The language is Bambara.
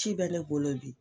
Ci bɛ ne bolo bi.